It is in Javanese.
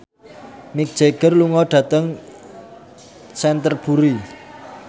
Mick Jagger lunga dhateng Canterbury